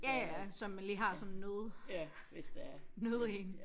Ja ja som man lige har som nød nød én